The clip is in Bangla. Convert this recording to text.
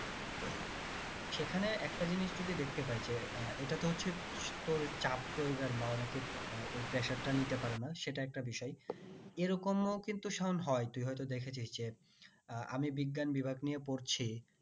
সেখানে একটা জিনিস যদি দেখতে পাই যে এর এটা তো হচ্ছে চাপ প্রয়োগের ওই presar টা নিতে পারে না সেটা একটা বিষয় এইরকম ও কিন্তু সায়ন হয় তুই হয়তো দেখে ছিস যে আমি বিজ্ঞান বিভাগ নিয়ে পড়ছি